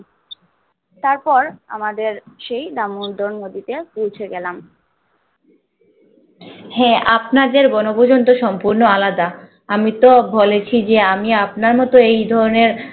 তারপর আমাদের সেই দামদর নদীতে পৌঁছে গেলাম হ্যা আপনাদের বনভূজন তো সম্পন্ন আলাদা আমিতো বলেছি যে আমি আপনার মত এধরনের